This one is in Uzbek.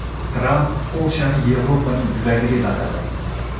Tramp Polshani Yevropaning yuragi deb atadi.